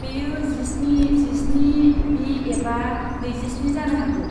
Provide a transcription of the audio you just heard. बेयो जिस्नि, जिस्नि बि एबा नैजि स्नि जानो हागौ।